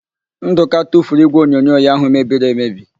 Ndụka tufuru ígwèonyonyo ya ahụ mebiri emebi.